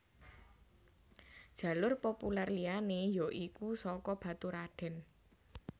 Jalur populer liyané ya iku saka Baturradèn